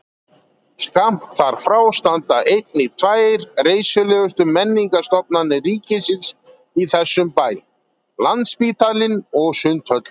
Skammt þar frá standa einnig tvær reisulegustu menningarstofnanir ríkisins í þessum bæ, landsspítalinn og sundhöllin.